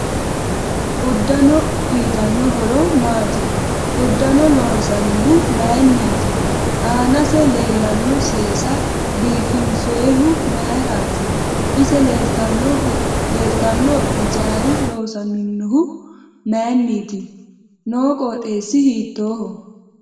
Uddano uyiitano horo maati uddanno loonsanihu mayiiniti aanase leelano seesa biifinsoyihu mayiirati ise leeltanno hijaari loosaminohu mayiiniti noo qoxeesi hiitooho